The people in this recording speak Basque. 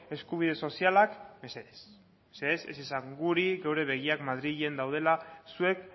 eskubide sozialak mesedez ez esan guri geure begiak madrilen daudela zuek